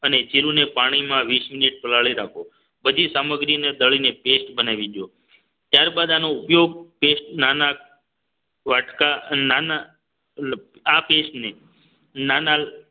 અને જીરુંને પાણીમાં વીસ મિનિટ પલાળી રાખો બધી સામગ્રીને દળીને paste બનાવી દો ત્યારબાદ આનો ઉપયોગ ટેસ્ટ નાના વાટકા નાના આ paste ને નાના